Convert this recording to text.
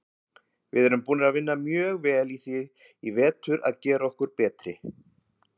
Við erum búnir að vinna mjög vel í því í vetur að gera okkur betri.